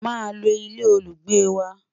má ló ilé olugbe wà